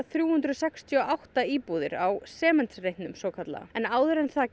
þrjú hundruð sextíu og átta íbúðir á Sementsreitnum svokallaða en áður en það